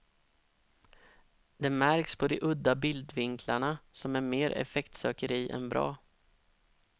Det märks på de udda bildvinklarna, som är mer effektsökeri än bra.